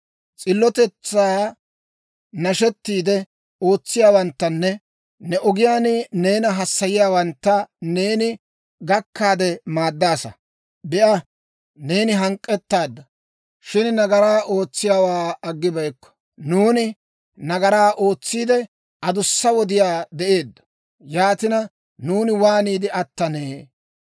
S'illotetsaa nashettiide ootsiyaawanttanne ne ogiyaan neena hassayiyaawantta neeni gakkaade maaddaasa. Be'a, neeni hank'k'ettaadda; shin nagaraa ootsiyaawaa aggibeykko. Nuuni nagaraa ootsiidde, adussa wodiyaa de'eeddo; yaatina, nuuni waaniide attanee?